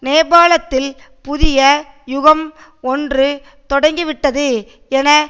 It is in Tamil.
நேபாளத்தில் புதிய யுகம் ஒன்று தொடங்கிவிட்டது என